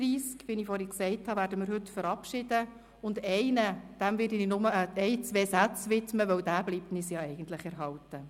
33 Mitglieder werden wir heute verabschieden, und einem Mitglied werde ich nur ein oder zwei Sätze widmen, denn es bleibt uns erhalten.